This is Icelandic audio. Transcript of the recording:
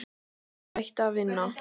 Að hætta að vinna?